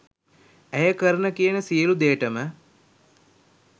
ඇය කරන කියන සියලු දේටම